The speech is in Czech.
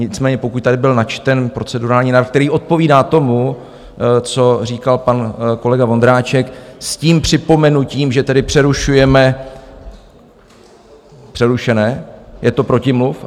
Nicméně pokud tady byl načten procedurální návrh, který odpovídá tomu, co říkal pan kolega Vondráček, s tím připomenutím, že tedy přerušujeme přerušené, je to protimluv?